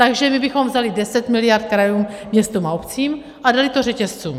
Takže my bychom vzali 10 miliard krajům, městům a obcím a dali to řetězcům.